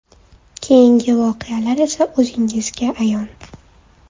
Keyingi voqealar esa o‘zingizga ayon.